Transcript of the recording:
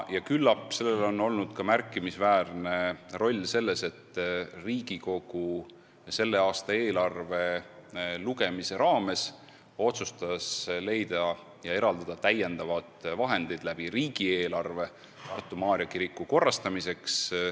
Ja küllap sellel on olnud märkimisväärne roll selles, et Riigikogu otsustas selle aasta eelarvet arutades eraldada täiendavad vahendid Tartu Maarja kiriku korrastamiseks.